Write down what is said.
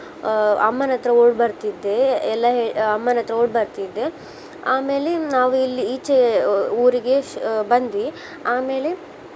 ಆ ಅಮ್ಮನ್ ಹತ್ರ ಓಡಿ ಬರ್ತಿದ್ದೆ ಎಲ್ಲ ಹೇಳ್~ ಆ ಅಮ್ಮನ್ ಹತ್ರ ಓಡಿ ಬರ್ತಿದ್ದೆ. ಆಮೇಲೆ ನಾವ್ ಇಲ್ಲಿ ಈಚೆ ಊ~ ಊ~ ಊರಿಗೇ ಶ್~ ಬಂದ್ವಿ. ಆಮೇಲೆ